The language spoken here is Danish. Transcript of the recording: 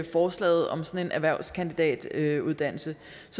forslaget om sådan en erhvervskandidatuddannelse